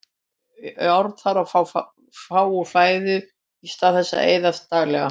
Járn þarf að fá úr fæðinu í stað þess sem eyðist daglega.